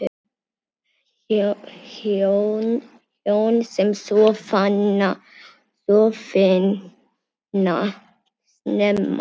Hjón sem sofna snemma